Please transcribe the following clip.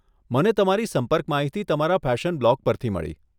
મને તમારી સંપર્ક માહિતી તમારા ફેશન બ્લોગ પરથી મળી.